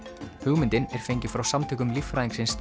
hugmyndin er fengin frá samtökum líffræðingsins